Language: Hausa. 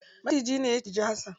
Macijine ne ya cinji hasan.